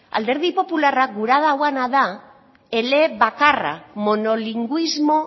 alderdi popularrak gura duena da elebakarra monolingüismo